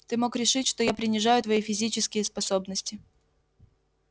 ты мог решить что я принижаю твои физические способности